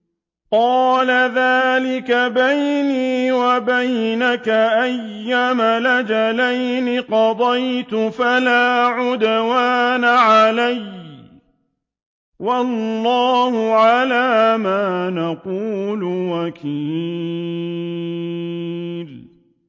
قَالَ ذَٰلِكَ بَيْنِي وَبَيْنَكَ ۖ أَيَّمَا الْأَجَلَيْنِ قَضَيْتُ فَلَا عُدْوَانَ عَلَيَّ ۖ وَاللَّهُ عَلَىٰ مَا نَقُولُ وَكِيلٌ